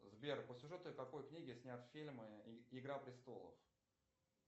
сбер по сюжету какой книги снят фильм игра престолов